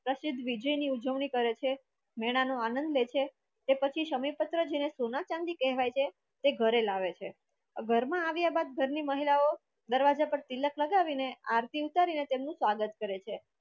પ્રસિદ્ધ વિજયની ઉજવણી કરે છે મેળા નો આનંદ લે છે તે પછી સમીપત્ર જેના સોના-ચાંદી કહેવાય છે તે ઘરે લાવે છે ઘરમાં આવ્યા બાદ ઘરની મહિલાઓ દરવાજા પર તિલક લગાવીને આરતી ઉતારીને અને તેમનું સ્વાગત કરે છે